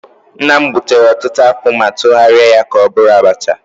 Nna m gbutere ọtụtụ akpụ ma tụgharịa ya ka ọ bụrụ abacha